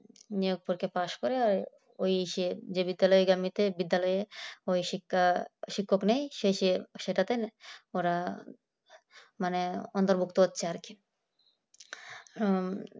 অপরকে পাস করে আর ওই যে বিদ্যালয়ের গামিতে বিদ্যালয়ে ওই শিক্ষায় শিক্ষক নয় ঐ সেই সেটাতে ওরা অন্তর্ভুক্ত হচ্ছে আর কি